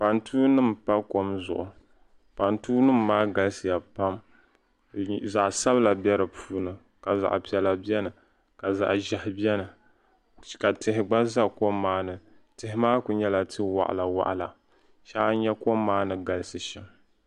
Pantuu nim n pa kom zuɣu pantuu nim maa galisiya pam zaɣ sabila bɛ di puuni ka zaɣ piɛla biɛni ka zaɣ ʒiɛhi biɛni ka tihi gba ʒɛ kom maa ni tihi maa ku nyɛla ti waɣala waɣala shee a nyɛ kom maa ni galisi shɛm